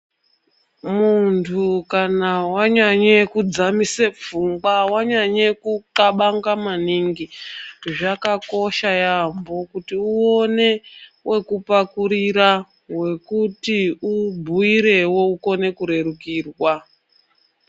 Muntu kana wanyanye kudzamisa pfungwa wanyanye kuqabanga maningi zvakakosha yambo kuti uone wekupakurira wekuti ubhuirewo ukone kurerukirwa.